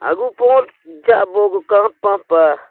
agu porek ja bu kapa pah.